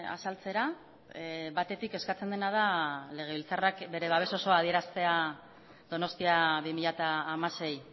azaltzera batetik eskatzen dena da legebiltzarrak bere babes osoa adieraztea donostia bi mila hamasei